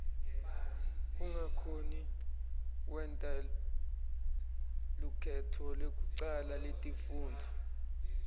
kungakhoni kwenta lukhetfo lekucala letifundvo